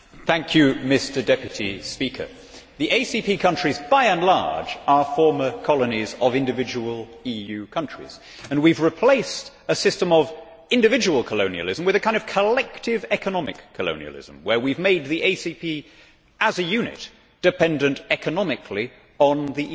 Mr President, the ACP countries by and large are former colonies of individual EU countries, and we have replaced a system of individual colonialism with a kind of collective economic colonialism, where we have made the ACP as a unit dependent economically on the EU.